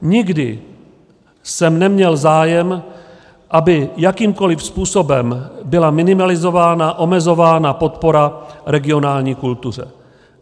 Nikdy jsem neměl zájem, aby jakýmkoli způsobem byla minimalizována, omezována podpora regionální kultuře.